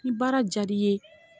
N'i baara diyar'i ye